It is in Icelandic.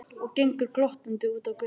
Og gengur glottandi út á götuna.